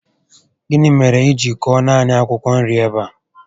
Gịnị mèrè I ji kọọ naanị akwụkwọ nri ebe a?